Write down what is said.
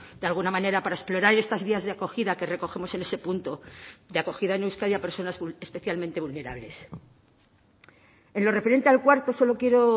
de alguna manera para explorar estas vías de acogida que recogemos en ese punto de acogida en euskadi a personas especialmente vulnerables en lo referente al cuarto solo quiero